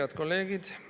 Head kolleegid!